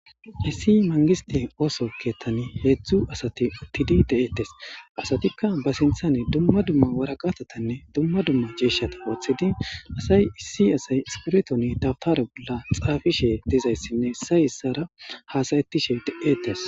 Haysi mangiste oso kethan hezdu asati utidi de'etes asatika ba sinten duma duma woraqata tane duma duma mishata wotidi asay issi asay zoretoni dawtare bolan xafishe dizaysine isay isara hasa'tishe de'etes.